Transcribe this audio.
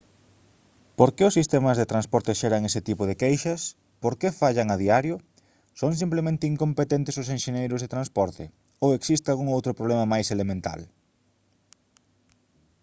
por que os sistemas de transporte xeran ese tipo de queixas por que fallan a diario son simplemente incompetentes os enxeñeiros de transporte ou existe algún outro problema máis elemental